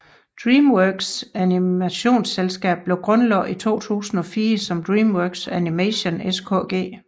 DreamWorks animationsselskab blev grundlagt i 2004 som DreamWorks Animation SKG